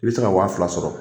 I be se ka waa fila sɔrɔ